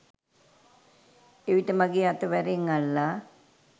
එවිට මගේ අත වැරෙන් අල්ලා